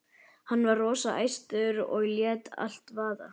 Hann var rosa æstur og lét allt vaða.